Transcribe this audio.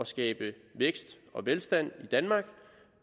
skabe vækst og velstand i danmark